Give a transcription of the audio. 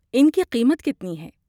ان کی قیمت کتنی ہے؟